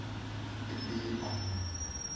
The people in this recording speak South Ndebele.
ibiko